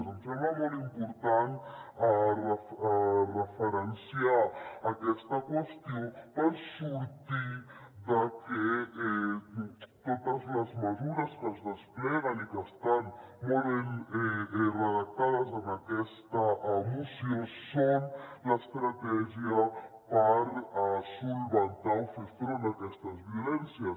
em sembla molt important referenciar aquesta qüestió per sortir de que totes les mesures que es despleguen i que estan molt ben redactades en aquesta moció són l’estratègia per solucionar o fer front a aquestes violències